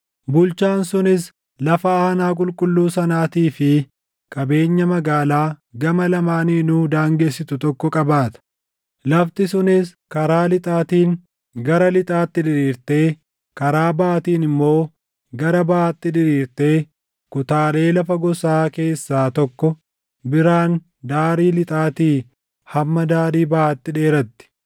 “ ‘Bulchaan sunis lafa aanaa qulqulluu sanaatii fi qabeenya magaalaa gama lamaaniinuu daangessitu tokko qabaata. Lafti sunis karaa lixaatiin gara lixaatti diriirtee karaa baʼaatiin immoo gara baʼaatti diriirtee kutaalee lafa gosaa keessaa tokko biraan daarii lixaatii hamma daarii baʼaatti dheeratti.